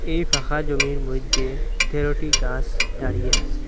এই ফাকা জমির মইধ্যে তেরোটি গাস দাড়িয়ে আসে।